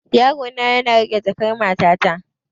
Yarona yana riƙe jakan matata.